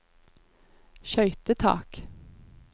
skøytetak